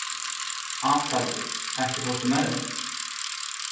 Atalía, ekki fórstu með þeim?